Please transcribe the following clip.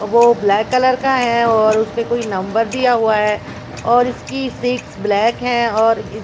और वो black colour का है और उसपे कोई नंबर दिया हुआ है और इसकी सीट्स ब्लैक हैं और ये--